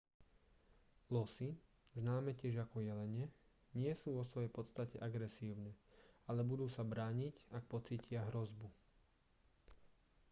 losy známe tiež ako jelene nie sú vo svojej podstate agresívne ale budú sa brániť ak pocítia hrozbu